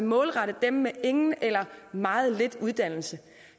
målrettet dem med ingen eller meget lidt uddannelse